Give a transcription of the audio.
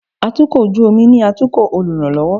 atukọ̀ ojú omi ni atukò oluranlọwọ